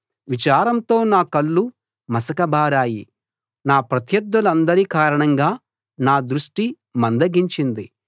విచారంతో నా కళ్ళు మసకబారాయి నా ప్రత్యర్థులందరి కారణంగా నా దృష్టి మందగించింది